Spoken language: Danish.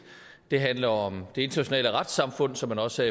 det handler om det internationale retssamfund som man også